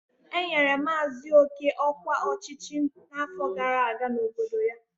Enyere maazị oke ọkwa ọchịchị n'afọ gara aga n'obodo ya.